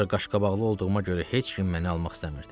Ancaq qaşqabaqlı olduğuma görə heç kim məni almaq istəmirdi.